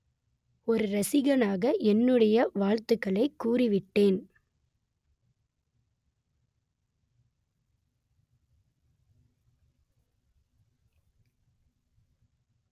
ஒரு ரசிகனாக என்னுடைய வாழ்த்துக்களை கூறி விட்டேன்